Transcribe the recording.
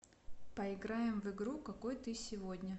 поиграем в игру какой ты сегодня